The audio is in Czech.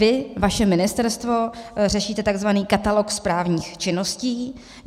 Vy, vaše ministerstvo, řešíte tzv. katalog správních činností.